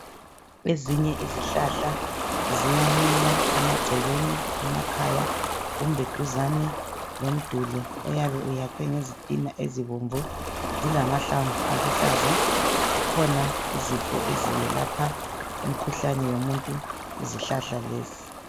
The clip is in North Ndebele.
ezinye izihlahla ziyamila emagcekeni emakhaya kumbe duzane lomduli oyabe uyakhwe ngezitina ezibomvu zilamahlamvu aluhlaza kukhona izifo eziyelapha imikhuhlane yomuntu yizihlahla lezi